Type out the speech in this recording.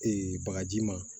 Ee bagaji ma